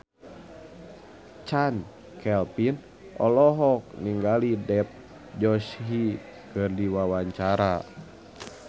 Chand Kelvin olohok ningali Dev Joshi keur diwawancara